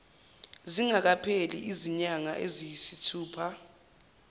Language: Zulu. zingakapheli izinyanga eziyisithupha